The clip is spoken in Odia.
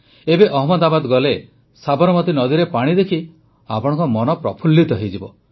ଏବେ ଅହମ୍ମଦାବାଦ ଗଲେ ସାବରମତୀ ନଦୀରେ ପାଣି ଦେଖି ଆପଣଙ୍କ ମନ ପ୍ରଫୁଲ୍ଲିତ ହୋଇଯିବ